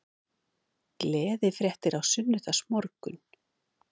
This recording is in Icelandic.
Gleðifréttir á sunnudagsmorgun